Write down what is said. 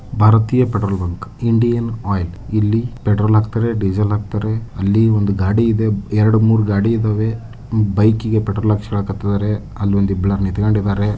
ಭಾರತೀಯ petrol bunk Indian oil ಇಲ್ಲಿ petrol ಹಾಕ್ತಾರೆ ಡೀಸೆಲ್ ಹಾಕ್ತಾರೆ ಅಲ್ಲಿ ಒಂದು ಗಾಡಿ ಇದೆ ಎರಡು ಮೂರು ಗಾಡಿ ಇದವೆ ಬೈಕಿ ಗೆ ಪೆಟ್ರೋಲ್ ಹಾಕ್ಸೊಳಕತ್ತಿದ್ದಾರೆ ಅಲ್ಲ ಒಂದ ಇಬ್ರ ನಿಂತ್ಕೊಂಡಿದ್ದಾರೆ.